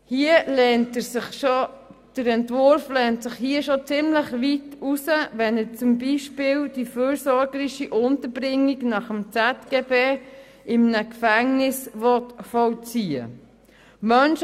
Hier lehnt sich der Entwurf schon ziemlich weit hinaus, wenn er zum Beispiel die fürsorgerische Unterbringung nach ZGB in einem Gefängnis vollziehen will.